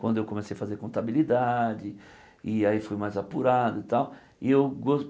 Quando eu comecei a fazer contabilidade, e aí fui mais apurado e tal. E eu